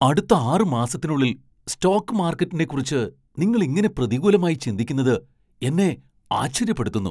അടുത്ത ആറ് മാസത്തിനുള്ളിൽ സ്റ്റോക്ക് മാർക്കറ്റിനെക്കുറിച്ച് നിങ്ങൾ ഇങ്ങനെ പ്രതികൂലമായി ചിന്തിക്കുന്നത് എന്നെ ആശ്ചര്യപ്പെടുത്തുന്നു.